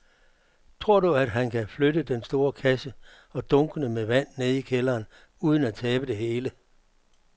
Tror du, at han kan flytte den store kasse og dunkene med vand ned i kælderen uden at tabe det hele?